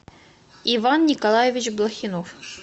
иван николаевич блохинов